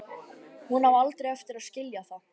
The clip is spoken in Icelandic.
Hún á aldrei eftir að skilja það.